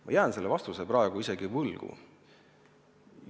Ma jään sellele vastuse praegu võlgu.